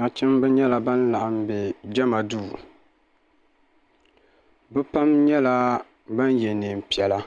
Nachimba nyɛla ban laɣim bɛ jama duu bi pam nyɛla ban yɛ neenpiɛla